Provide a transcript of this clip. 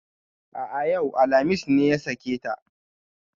A'a yau, alhamis ne ya sake ta